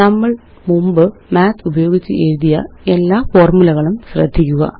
നമ്മള് മുമ്പ് Mathഉപയോഗിച്ച് എഴുതിയ എല്ലാ ഫോര്മുലകളും ശ്രദ്ധിക്കുക